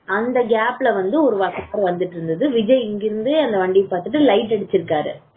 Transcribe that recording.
அந்த gap ல வந்து வந்துட்டு இருந்தது இருக்கு விஜய் இங்க இருந்தே light அடிச்சு இருக்காரு